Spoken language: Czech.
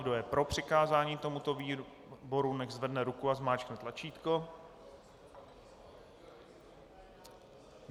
Kdo je pro přikázání tomuto výboru, nechť zvedne ruku a zmáčkne tlačítko.